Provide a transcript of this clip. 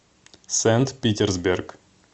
сент питерсберг